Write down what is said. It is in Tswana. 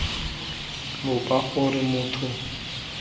lopa gore motho kana makoko